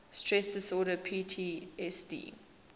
stress disorder ptsd